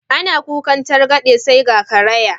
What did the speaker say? Ana kukan targaɗe sai ga karaya.